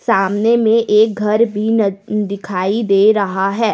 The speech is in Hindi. सामने में एक घर भी न दिखाई दे रहा है।